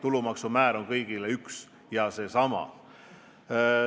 Tulumaksu määr on kõigile üks ja seesama.